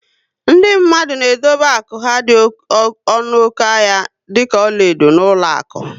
Ndị mmadụ na edobe akụ ha dị ọnụ oké ahịa dịka ọlaedo na ụlọakụ